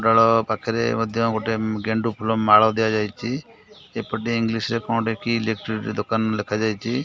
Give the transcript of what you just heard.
ଡଳ ପାଖରେ ମଧ୍ୟ ଗୋଟେ ଗେଣ୍ଡୁ ଫୁଲମାଳ ଦିଆଯାଇଚି ଏପଟେ ଇଂଲିଶ ରେ କଣ ଗୋଟେ କି ଇଲେକ୍ଟ୍ରି ଦୋକାନ ଲେଖାଯାଇଚି।